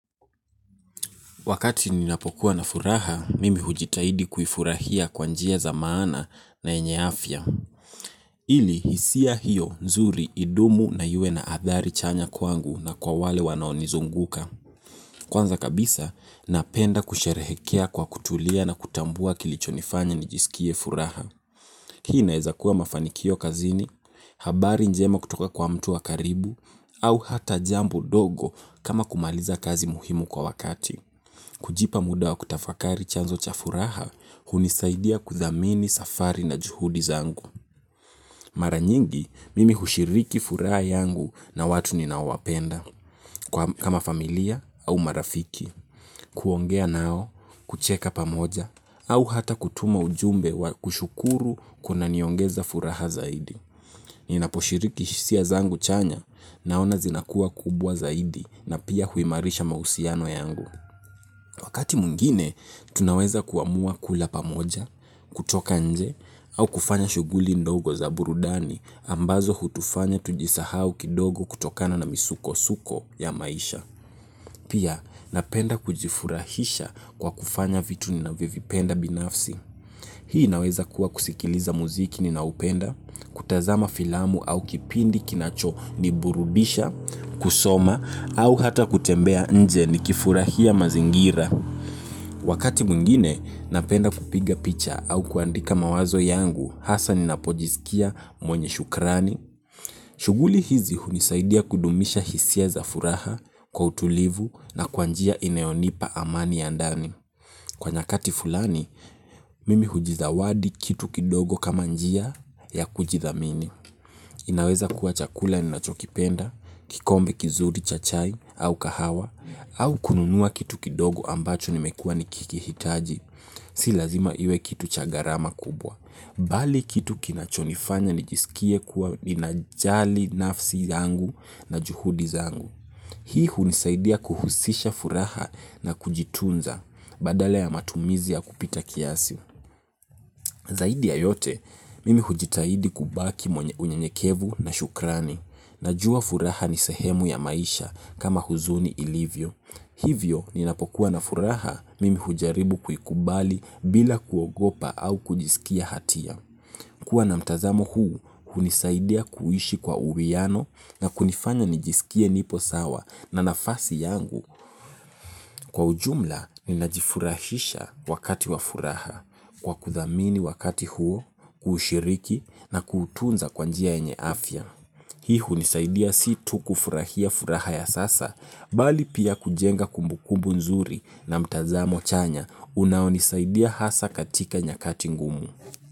Wakati ninapokuwa na furaha, mimi hujitahidi kufurahia kwa njia zamana na enye afia. Ili, hisia hiyo, zuri, idumu na yue na athari chanya kwangu na kwa wale wanaonizunguka. Kwanza kabisa, napenda kusherehekea kwa kutulia na kutambua kilicho nifanya nijisikie furaha. Hii inaeza kuwa mafanikio kazini, habari njema kutoka kwa mtu wa karibu, au hata jambo dogo kama kumaliza kazi muhimu kwa wakati. Kujipa muda wa kutafakari chanzo cha furaha, hunisaidia kuthamini safari na juhudi zangu. Mara nyingi mimi hushiriki furaha yangu na watu ninawowapenda kama familia au marafiki kuongea nawo kucheka pamoja au hata kutuma ujumbe wa kushukuru kunaniongeza furaha zaidi. Ninaposhiriki sia zangu chanya, naona zinakua kubwa zaidi na pia huimarisha mausiano yangu. Wakati mungine, tunaweza kuamua kula pamoja, kutoka nje, au kufanya shuguli ndogo za burudani ambazo hutufanya tujisahau kidogo kutokana na misuko-suko ya maisha. Pia, napenda kujifurahisha kwa kufanya vitu ni navovipenda binafsi. Hii naweza kuwa kusikiliza muziki ni na upenda, kutazama filamu au kipindi kinacho ni burudisha, kusoma, au hata kutembea nje ni kifurahia mazingira. Wakati mungine napenda kupiga picha au kuandika mawazo yangu hasa ninapojizikia mwenye shukrani. Shuguli hizi hunisaidia kudumisha hisia za furaha kwa utulivu na kwanjia ineonipa amani ya ndani. Kwa nyakati fulani, mimi hujizawadi kitu kidogo kama njia ya kujithamini. Inaweza kuwa chakula ninachokipenda, kikombe kizuri chachai au kahawa, au kununua kitu kidogo ambacho nimekua nikikihitaji. Si lazima iwe kitu chagarama kubwa. Bali kitu kinachonifanya nijisikie kuwa ninajali nafsi zangu na juhudi zangu. Hii hunisaidia kuhusisha furaha na kujitunza badala ya matumizi ya kupita kiasi. Zaidi ya yote mimi hujitahidi kubaki mwenye unyenyekevu na shukrani. Najua furaha ni sehemu ya maisha kama huzuni ilivyo. Hivyo, ninapokuwa na furaha mimi hujaribu kuikubali bila kuogopa au kujisikia hatia. Kuwa na mtazamo huu, unisaidia kuishi kwa uwiyano na kunifanya nijisikie nipo sawa na nafasi yangu. Kwa ujumla ninajifurahisha wakati wa furaha. Kwa kuthamini wakati huo, kushiriki na kutunza kwanjia enye afya. Hii unisaidia si tu kufurahia furaha ya sasa, bali pia kujenga kumbukumbu nzuri na mtazamo chanya. Unaonisaidia hasa katika nyakati ngumu.